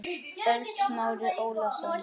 ÖLD Smári Ólason